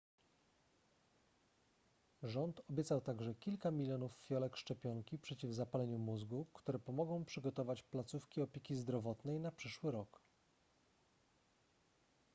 rząd obiecał także kilka milionów fiolek szczepionki przeciw zapaleniu mózgu które pomogą przygotować placówki opieki zdrowotnej na przyszły rok